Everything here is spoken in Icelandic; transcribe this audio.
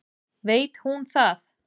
Veit hún það?